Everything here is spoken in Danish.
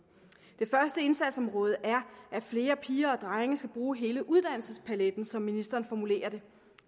det første indsatsområde er at flere piger og drenge skal bruge hele uddannelsespaletten som ministeren formulerer det